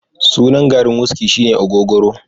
sunan garin wuski shine ogogoro